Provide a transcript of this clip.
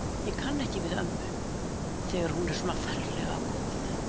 Ég kann ekki við ömmu, þegar hún er svona ferlega góð.